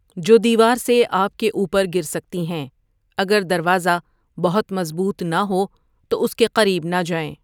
جو دیوار سے آپ کے اوپرگر سکتی ہیں اگر دروازہ بہت مضبوط نہ ہو تو اس کے قریب نہ جائیں۔